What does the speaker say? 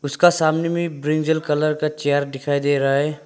उसका सामने में ब्रिजल कलर का चेयर दिखाई दे रहा है।